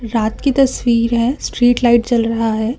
रात की तस्वीर है स्ट्रीट लाइट जल रहा है।